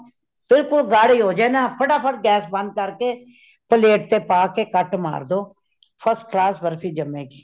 ਬਿਲਕੁਈ ਗਾਡੀ ਹੋ ਜਾਏਨਾ , ਫਟਾ ਫਟ gas ਬੰਦ ਕਰ ਕੇ ,plate ਚ ਪਾਕੇ cut ਮਾਰ ਦੋ , first class ਬਰਫੀ ਜਾਮੇਗੀ।